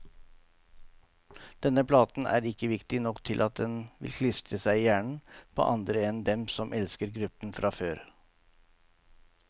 Denne platen er ikke viktig nok til at den vil klistre seg i hjernen på andre enn dem som elsker gruppen fra før.